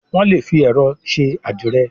Wón lè fí ẹrọ ṣe adire